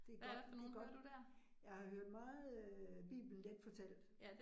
Det godt det godt. Jeg har hørt meget øh Bibelen Genfortalt